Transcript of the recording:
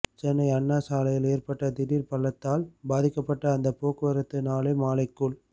சென்னை அண்ணா சாலையில் ஏற்பட்ட திடீர் பள்ளத்தால் பாதிக்கப்பட்ட அந்த போக்குவரத்து நாளை மாலைக்குள்